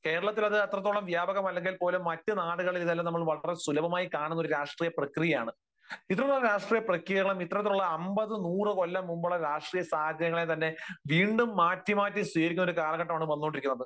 കേരളത്തിൽ അത് അത്രത്തോളം വ്യാപകമല്ലെങ്കിൽ പോലും മറ്റ് നാടുകളിൽ ഇതെല്ലാം നമ്മൾ സുലഭമായി കാണുന്ന ഒരു രാഷ്ട്രീയ പ്രക്രിയയാണ്. ഇത്തരത്തിലുള്ള രാഷ്ട്രീയ പ്രക്രിയകളുംഇത്തരത്തിലുള്ള അൻപത് നൂറു കൊല്ലം മുൻപുള്ള രാഷ്ട്രീയസാഹചര്യങ്ങളെയും തന്നെ വീണ്ടും മാറ്റി മാറ്റി സ്വീകരിക്കുന്ന ഒരു കാലഘട്ടമാണ് വന്നുകൊണ്ടിരിക്കുന്നത്.